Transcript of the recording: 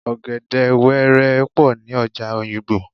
Ọ̀gẹ̀dè wẹ́rẹ́ pọ̀ ní ọjà Òyìgbò